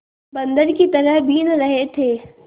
बंदर की तरह बीन रहे थे